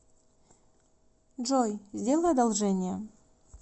джой сделай одолжение